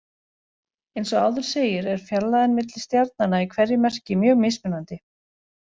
Eins og áður segir er fjarlægðin milli stjarnanna í hverju merki mjög mismunandi.